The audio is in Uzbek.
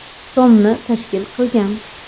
so‘mni tashkil qilgan.